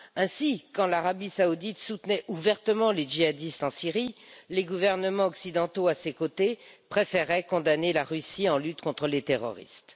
Ainsi, quand l'Arabie Saoudite soutenait ouvertement les djihadistes en Syrie, les gouvernements occidentaux à ses côtés préféraient condamner la Russie en lutte contre les terroristes.